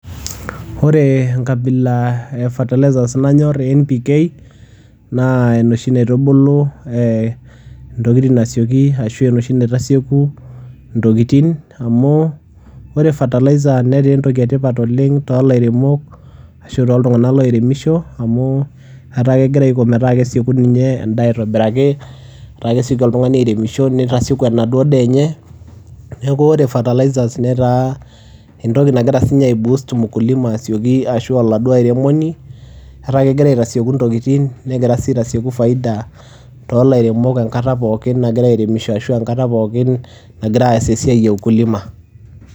Ore enkabila e fertilizers nanyor NPK, na enoshi naitubulu ee intokitin aisioki ashu enoshi naitasieku intokitin. Amu ore fertilizer netaa entoki e tipat oleng' too lairemok ashu tooltung'anak loiremisho amu etaa kegira aiko metaa kesieku ninye endaa aitobiraki, etaa kesioki oltung'ani airemisho nitasieku enaduo daa enye. Neeku ore fertilizers netaa entoki nagira siinye aiboost mkulima asioki ashu oladuo airemoni etaa kegira aitasieku intokitin, negira sii aitasieku faida too lairemok enkata pookin nagira airemisho ashu enkata pookin nagira aas esiai e ukulima.